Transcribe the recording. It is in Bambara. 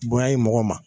Bonya ye mɔgɔ ma